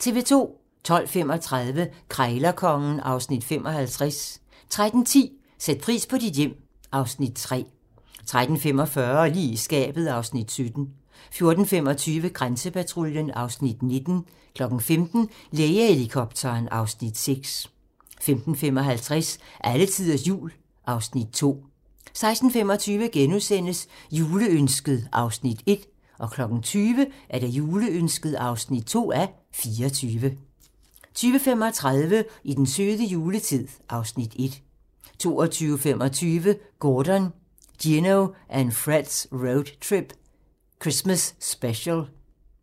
12:35: Krejlerkongen (Afs. 55) 13:10: Sæt pris på dit hjem (Afs. 3) 13:45: Lige i skabet (Afs. 17) 14:25: Grænsepatruljen (Afs. 19) 15:00: Lægehelikopteren (Afs. 6) 15:55: Alletiders Jul (Afs. 2) 16:25: Juleønsket (1:24)* 20:00: Juleønsket (2:24) 20:35: I den søde juletid (Afs. 1) 22:25: Gordon, Gino and Fred's Road Trip - X-mas Special